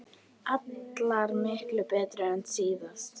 Allar miklu betri en síðast!